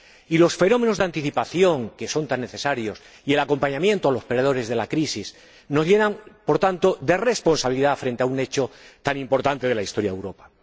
Y los fenómenos de anticipación, que son tan necesarios, y el acompañamiento de los perdedores de la crisis, nos llenan, por tanto, de responsabilidad frente a un hecho tan importante de la historia de Europa.